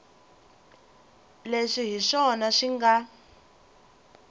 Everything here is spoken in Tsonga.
leswi hi swona swi nga